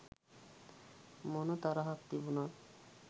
මොන තරහක් තිබුණත්